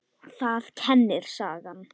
Það kennir sagan.